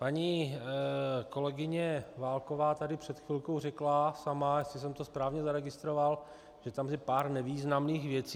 Paní kolegyně Válková tady před chvilkou řekla sama, jestli jsem to správně zaregistroval, že tam je pár nevýznamných věcí.